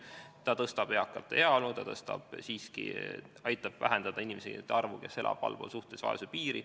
See parandab eakate heaolu, see aitab vähendada inimeste arvu, kes elavad allpool suhtelise vaesuse piiri.